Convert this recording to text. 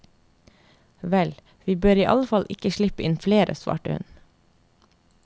Vel, vi bør iallfall ikke slippe inn flere, svarte hun.